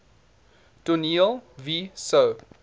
toneel wie sou